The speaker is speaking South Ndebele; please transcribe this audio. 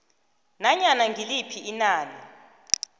nanyana ngiliphi inani